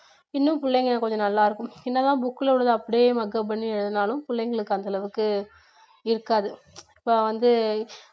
இன்னும் புள்ளைங்க கொஞ்சம் நல்லா இருக்கும் என்னதான் book ல உள்ளதை அப்படியே மக்கப் பண்ணி எழுதுனாலும் பிள்ளைங்களுக்கு அந்த அளவுக்கு இருக்காது இப்போ வந்து